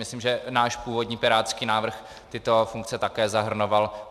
Myslím, že náš původní pirátský návrh tyto funkce také zahrnoval.